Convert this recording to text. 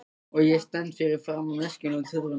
Og ég stend fyrir framan veskin og tuðrurnar.